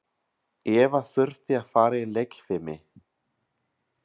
Eva þurfti að fara í leikfimi.